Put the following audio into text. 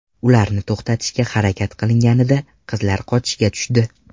Ularni to‘xatishga harakat qilinganida qizlar qochishga tushdi.